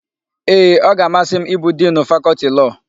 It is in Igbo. Ee, ọ ga-amasị m ịbụ Dinu Fakọltị Lọọ.